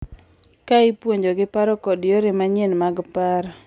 Ka ipuonjogi paro kod yore manyien mag paro.